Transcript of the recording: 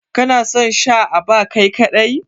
Kana son Sha à bar Kai kadai?